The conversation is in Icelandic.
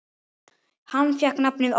Hann fékk nafnið Óli.